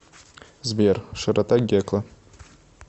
сбер широта гекла